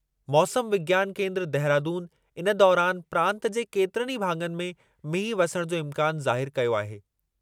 मौसम विज्ञान केंद्रु, देहरादून इन दौरानि प्रांतु जे केतिरनि ई भाङनि में मींहुं वसण जो इम्कानु ज़ाहिरु कयो आहे।